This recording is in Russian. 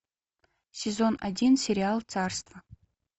сезон один сериал царство